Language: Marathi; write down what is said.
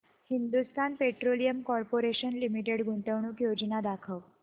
हिंदुस्थान पेट्रोलियम कॉर्पोरेशन लिमिटेड गुंतवणूक योजना दाखव